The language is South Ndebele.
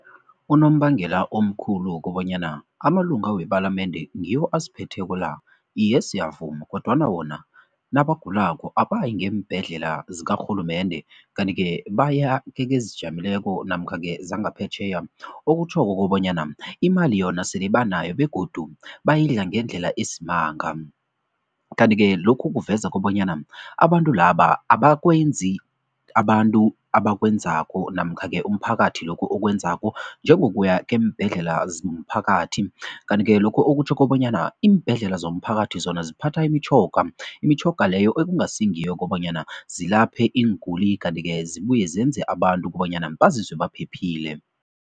Unombangela omkhulu wokobanyana amalunga wepalamende ngiwo asiphetheko la, iye siyavuma kodwana wona nabagulako abayi ngeembhedlela zikarhulumende kanti-ke baya kekezijameleko namkha-ke zangaphetjheya, okutjhoko kobanyana imali yona sele banayo begodu bayidla ngendlela esimanga. Kanti-ke lokhu kuveza kobanyana abantu laba abakwenzi abantu abakwenzako namkha-ke umphakathi lokhu okwenzako, njengokuya kweembhedlela zomphakathi kanti-ke lokho okutjho kobanyana iimbhedlela zomphakathi zona ziphatha imitjhoga, imitjhoga leyo ekungasingiyo kobanyana zilaphe iinguli kanti-ke zibuye zenze abantu kobanyana bazizwe baphephile.